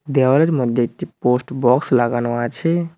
দেওয়ালের মধ্যে একটি পোস্ট বক্স লাগানো আছে।